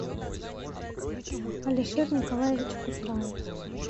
алишер николаевич кусраев